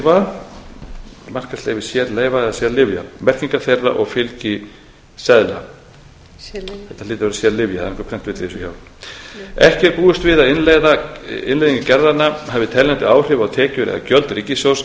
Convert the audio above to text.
fylgiseðla sérlyfja þetta hlýtur að vera sérlyfja það er einhver prentvilla í þessu hjá okkur ekki er búist við að innleiðing gerðanna hafi teljandi áhrif á tekjur eða gjöld ríkissjóðs